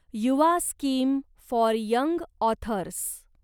Yuva scheme for young authors